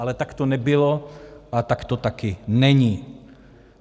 Ale tak to nebylo a tak to taky není.